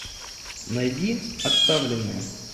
найди отставленные